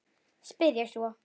spyr ég svo.